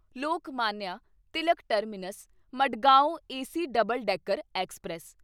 Lokmanya Tilak terminus Madgaon AC double decker express